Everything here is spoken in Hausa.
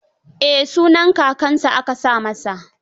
Eh, sunaan kakansa aka sa masa.